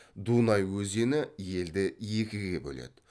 дунай өзені елді екіге бөледі